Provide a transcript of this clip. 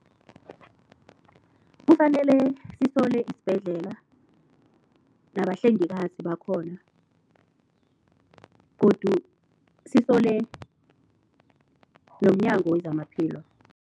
Kufanele sisole isibhedlela nabahlengikazi bakhona godu sisole nomNyango wezamaPhilo.